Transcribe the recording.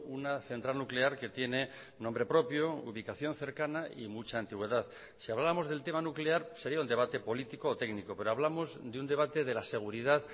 una central nuclear que tiene nombre propio ubicación cercana y mucha antigüedad si hablamos del tema nuclear sería un debate político o técnico pero hablamos de un debate de la seguridad